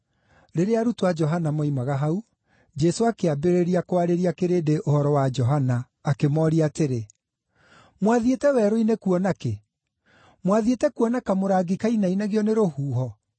Rĩrĩa arutwo a Johana moimaga hau, Jesũ akĩambĩrĩria kwarĩria kĩrĩndĩ ũhoro wa Johana, akĩmooria atĩrĩ: “Mwathiĩte werũ-inĩ kuona kĩ? Mwathiĩte kuona kamũrangi kainainagio nĩ rũhuho?